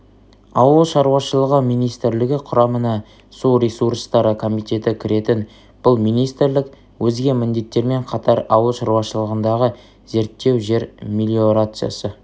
ауыл шаруашылығы министрлігі құрамына су ресурстары комитеті кіретін бұл министрлік өзге міндеттермен қатар ауыл шаруашылығындағы зерттеу жер мелиорациясы